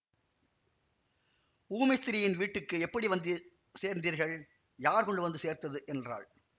ஊமை ஸ்திரீயின் வீட்டுக்கு எப்படி வந்து சேர்ந்தீர்கள் யார் கொண்டு சேர்த்தது என்றாள்